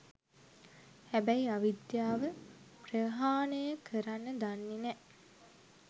හැබැයි අවිද්‍යාව ප්‍රහාණය කරන්න දන්නේ නෑ.